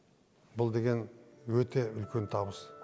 бұл деген өте үлкен табыс